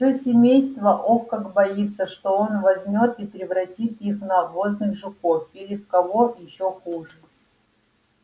все семейство ох как боится что он возьмёт и превратит их в навозных жуков или в кого ещё хуже